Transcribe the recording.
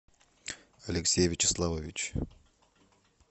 алексей вячеславович